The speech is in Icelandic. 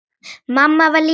Mamma var líka ánægð.